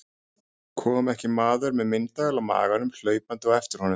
Kom ekki maður með myndavél á maganum hlaupandi á eftir honum.